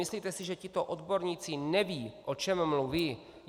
Myslíte si, že tito odborníci nevědí, o čem mluví?